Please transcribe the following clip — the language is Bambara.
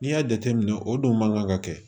N'i y'a jateminɛ o dun man kan ka kɛ